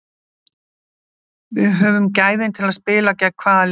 Við höfum gæðin til að spila gegn hvaða liði sem er.